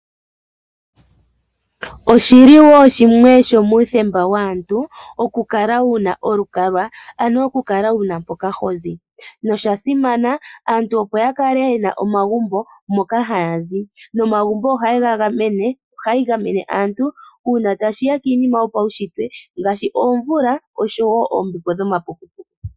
Oshili shimwe shomuthemba waantu okukala wuna olukalwa ano oku kala wuna mpoka hozi nosha simana aantu opo ya kale yena omagumbo moka haya zi nomagumbo ohayega gamene, ohayi gamene uuna tashiya kiinima yopawushitwe ngaashi omvula nombepo dhoma puku puku.